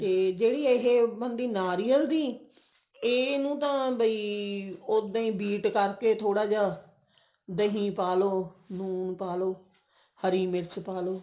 ਜਿਹੜੀ ਇਹ ਬਣਦੀ ਨਾਰੀਅਲ ਦੀ ਇਹਨੂੰ ਤਾਂ ਬਈ ਉੱਦਾਂ ਹੀ beat ਕਰਕੇ ਥੋੜਾ ਜਾ ਦਹੀਂ ਪਾ ਲਓ ਨੂਣ